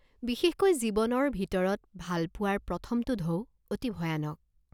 বিশেষকৈ জীৱনৰ ভিতৰত ভালপোৱাৰ প্ৰথমটো ঢৌ অতি ভয়ানক।